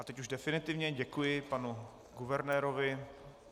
A teď už definitivně, děkuji panu guvernérovi.